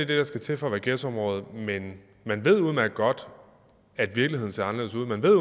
det der skal til for at være ghettoområde men man ved udmærket godt at virkeligheden ser anderledes ud man ved